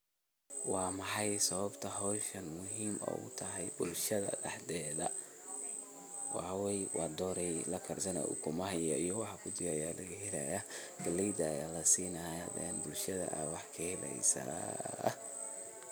Waa maxay sababta hawshani muhiim ugu tahay bulshada dhexdeeda, waxaa wayee, waa doreey lakarsanayo ukumaha iyo waxaa kuli ayaa lagahelayaa ,galeydaa ayaa lasinaya bulshaada ayaa waax kahelysaa .